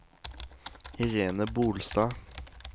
Irene Bolstad